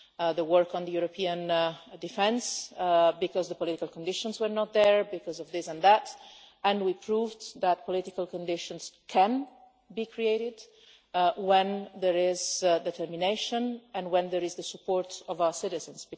The work on the European defence would be impossible because the political conditions were not there, and because of this and that, and we proved that political conditions can be created when there is determination and when there is the support of our citizens.